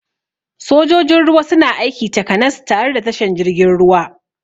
Sojojin ruwa suna aiki takanas tare da tashan jirgin ruwa